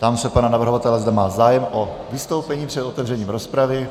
Ptám se pana navrhovatele, zda má zájem o vystoupení před otevřením rozpravy.